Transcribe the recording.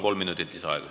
Kolm minutit lisaaega.